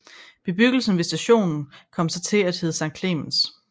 Bebyggelsen ved stationen kom så til at hedde Sankt Klemens